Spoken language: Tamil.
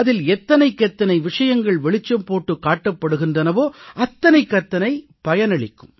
அதில் எத்தனைக்கெத்தனை விஷயங்கள் வெளிச்சம் போட்டுக் காட்டப்படுகின்றனவோ அத்தனைக்கத்தனை பயனளிக்கும்